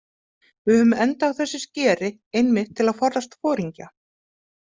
Við höfðum endað á þessi skeri einmitt til að forðast foringja.